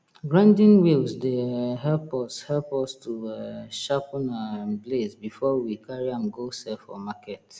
grinding wheels dey um help us help us to um sharpen um blades before we carry am go sell for market